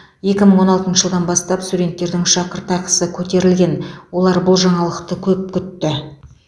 екі мың он алтыншы жылдан бастап студенттердің шәкіртақысы көтерілген олар бұл жаңалықты көп күтті